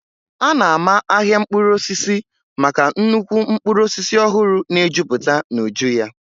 A na-ama ahịa mkpụrụ osisi maka nnukwu mkpụrụ osisi ọhụrụ na-ejuputa n'uju ya.